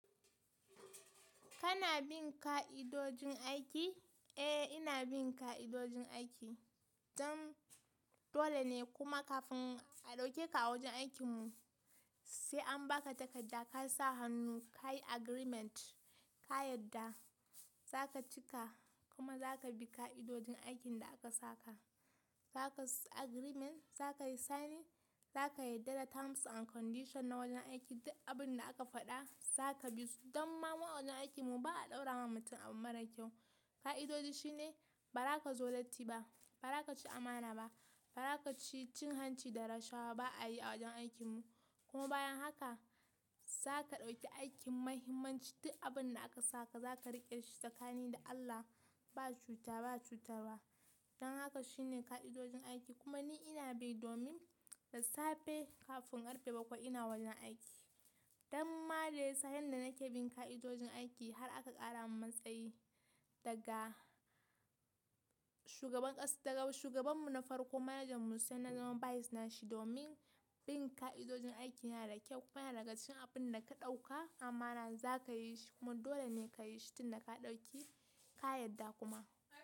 Kana bin ka'idojin aiki? Eh, ina bin ka'idojin aiki. Don dole ne kuma kafin a ɗauke ka a wajen aikin mu sai an baka takarda ka sa hannu kayi agreement ka yarda zaka cika kuma zaka bi ka'idojin aikin da aka saka. Zaka agreement zaka yi signing zaka yarda da terms and condition na wannan aiki duk abin da aka faɗa zaka bi su. Don ma mu awajen aikin mu ba'a ɗaura wa mutum abu mara kyau. Ka'idoji shine ba za ka zo latti ba, ba za ka ci amana ba, ba za ka ci cin hanci da rashawa ba a yi a wajen aikin mu. Kuma bayan haka zaka ɗauki aikin muhimmanci duk abun da aka saka zaka riƙe shi tsakani da Allah ba cuta ba cutarwa. Don haka shine ka'idojin aiki kuma ni ina bi domin da safe kafin karfe bakwai ina wajen aiki. Don ma da yasa yanda nake bin ka'idojin aiki har aka ƙara mun matsayi daga shugaban ƙasa daga shugaban mu na farko manager mu sai na zama vice na shi domin bin ka'idojin aiki yana da kyau kuma yana abin da ka ɗauka amana za ka yi shi kuma dole ne ka yi shi duk da ka ɗauki ka yarda kuma.